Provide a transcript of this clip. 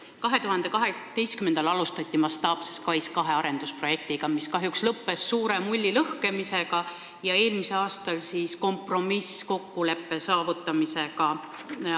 2012. aastal alustati mastaapse SKAIS2 arendusprojektiga, mis kahjuks lõppes suure mulli lõhkemisega ja eelmisel aastal arendajaga kompromisskokkuleppe saavutamisega.